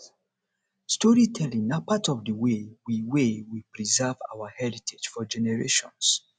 storytelling na part of the way we way we preserve our heritage for generations